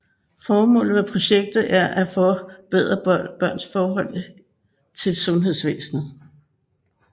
Formålet med projektet er at forbedre børns forhold til sundhedsvæsnet